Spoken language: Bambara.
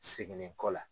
Segin kɔ la